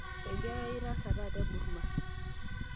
enkerayiai itaasa taata Burma